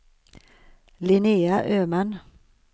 Linnea Öman